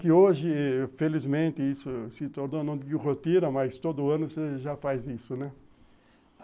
Que hoje, felizmente, isso se tornou não de rotina, mas todo ano você já faz isso, né?